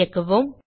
இயக்குவோம்